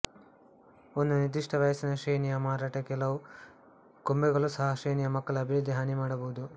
ಒಂದು ನಿರ್ದಿಷ್ಟ ವಯಸ್ಸಿನ ಶ್ರೇಣಿಯ ಮಾರಾಟ ಕೆಲವು ಗೊಂಬೆಗಳು ಸಹ ಶ್ರೇಣಿಯ ಮಕ್ಕಳ ಅಭಿವೃದ್ಧಿ ಹಾನಿ ಮಾಡಬಹುದು